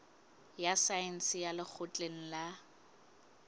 ya saense ya lekgotleng la